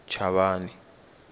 chavani